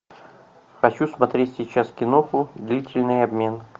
хочу смотреть сейчас кино длительный обмен